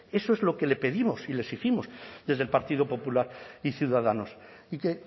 eso es lo que le pedimos y le exigimos desde el partido popular y ciudadanos y que